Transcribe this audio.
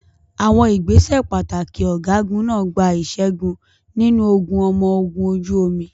Àwọn ìgbésẹ̀ pàtàkì ọ̀gágun náà gba ìṣẹ́gun nínú ogun ọmọ ogun ojú omi.